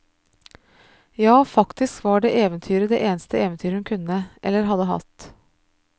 Ja, faktisk var det eventyret det eneste eventyret hun kunne, eller hadde hatt.